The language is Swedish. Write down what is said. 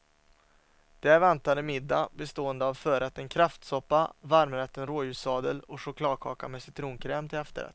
Där väntade middag bestående av förrätten kräftsoppa, varmrätten rådjurssadel och chokladkaka med citronkräm till efterrätt.